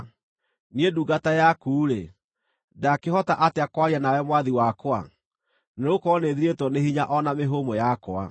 Niĩ ndungata yaku-rĩ, ndaakĩhota atĩa kwaria nawe mwathi wakwa? Nĩgũkorwo nĩthirĩtwo nĩ hinya o na mĩhũmũ yakwa.”